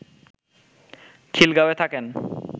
খিলগাঁওয়ে থাকেন